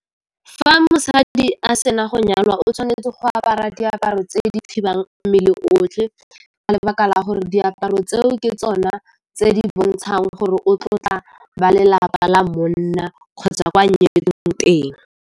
Fa mosadi a sena go nyalwa o tshwanetse go apara diaparo tse di thibang mmele otlhe ka lebaka la gore diaparo tseo ke tsona tse di bontshang gore o tlotla ba lelapa la monna kgotsa kwa teng.